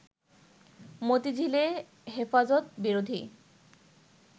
মতিঝিলে হেফাজত বিরোধী